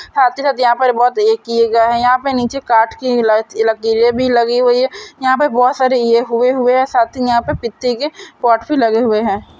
आते-जाते ए यहाँ बहुत ए किये गए है। यहाँ पे निचे काट की लट लकीरें भी लगी हुई है। यहाँ पे बहुत इये हुए है। साथ ही यहाँ पे पित्ती के पटपी गए है।